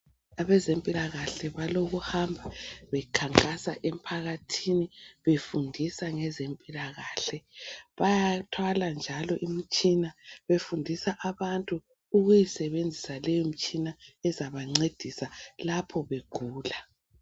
Abezempikahle balokuhamba bekhankasa emphakathini befundisa ngezempilakahle. Bayathwala njalo imitshina befundisa abantu ukuyisebenzisa leyo mtshina ezabancedisa lapho begula.